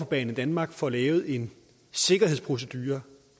banedanmark får lavet en sikkerhedsprocedure